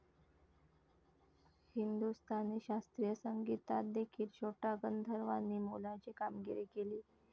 हिंदुस्तानी शास्त्रीय संगीतातदेखील छोटा गंधर्वांनी मोलाची कामगिरी केली.